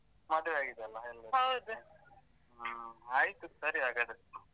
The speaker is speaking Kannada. ಮದುವೆ ಆಗಿದೆ ಅಲ . ಹ್ಮ ಆಯ್ತು ಸರಿ ಹಾಗಾದ್ರೆ.